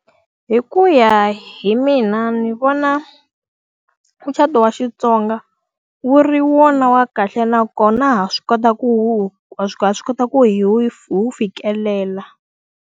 Hi ku ya hi mina ndzi vona mucato wa Xitsonga wu ri wona wa kahle nakona ha swi kota ku ha ha swi kota ku hi wu hi wu fikelela.